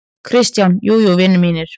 KRISTJÁN: Jú, jú, vinir mínir!